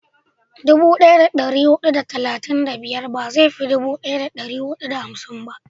dubu daya da dari hudu da talatin da biyar ba zai fi dubu daya da dari hudu da hamsin ba